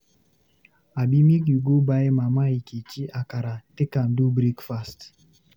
Abi, make you go buy Mama Nkechi akara take am do breakfast?